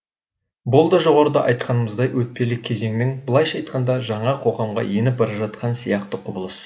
бұл да жоғарыда айтқанымыздай өтпелі кезеңнің былайша айтқанда жаңа қоғамға еніп бара жатқан сияқты құбылыс